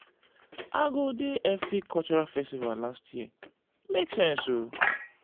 i go di efik cultural festival last year e make sense o.